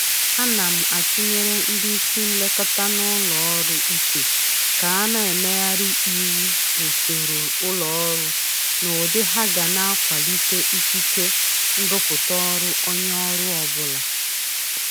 Ana m atụnyere ndị isi nlekọta n'ụlọ ọrụ uche ka na-emegharị iwu usoro ụlọ ọrụ n'ụdị ha ga na-akwalite ikike nrụpụta ọrụ onye ọrụ ọbụla